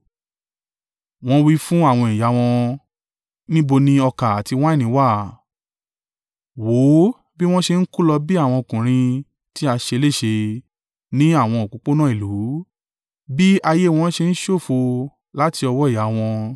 Wọ́n wí fún àwọn ìyá wọn, “Níbo ni ọkà àti wáìnì wà?” Wò ó bí wọ́n ṣe ń kú lọ bí àwọn ọkùnrin tí a ṣe léṣe ní àwọn òpópónà ìlú, bí ayé wọn ṣe ń ṣòfò láti ọwọ́ ìyá wọn.